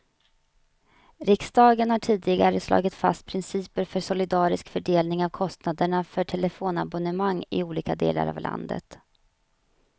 Riksdagen har tidigare slagit fast principer för solidarisk fördelning av kostnaderna för telefonabonnemang i olika delar av landet.